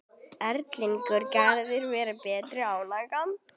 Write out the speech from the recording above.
Erlingi Garðari varð betur ágengt.